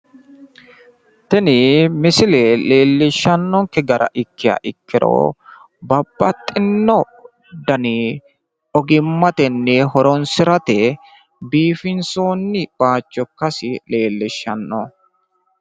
tini misile leellishshannonke gara ikkiha ikkiro babaxinno daninni ogimmatenni horonsirate biifinsoonni bayiicho ikkasi leellishshanno.